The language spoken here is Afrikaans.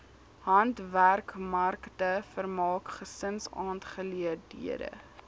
handwerkmarkte vermaak gesinsaangeleenthede